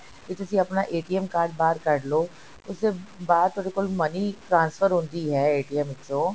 ਕਿ ਤੁਸੀ ਆਪਣਾ card ਬਾਹਰ ਕੱਢ ਲੋ ਇਸ ਤੋਂ ਬਾਅਦ ਤੁਹਾਡੇ ਕੋਲ money transfer ਹੁੰਦੀ ਹੈ ਵਿੱਚੋਂ